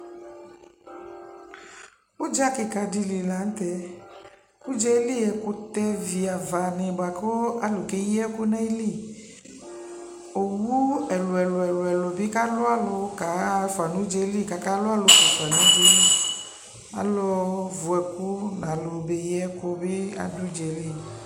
ʋdza kikaa dili lantɛ, ʋdzali ɛkʋtɛ vi aɣa ni bʋakʋalʋ kɛ yi ɛkʋ nʋali, ɔwʋ ɛlʋɛlʋ bikalʋalʋ kahaƒa nʋ ʋdzali kʋ aka lʋalʋƒʋɛfa nʋ ali ɛli, alʋ vʋ ɛkʋ nʋ alʋ ɔmɛ yi ɛkʋ bi adʋ ʋdzali